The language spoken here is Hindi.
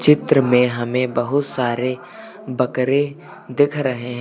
चित्र में हमें बहुत सारे बकरे दिख रहे हैं।